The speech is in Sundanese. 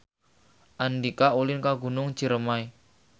Andika ulin ka Gunung Ciremay